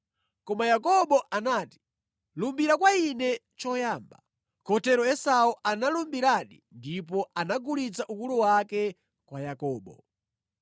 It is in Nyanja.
Koma Yakobo anati, “Lumbira kwa ine choyamba.” Kotero Esau analumbiradi, ndipo anagulitsa ukulu wake kwa Yakobo.